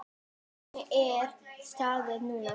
Hvernig er staðan núna?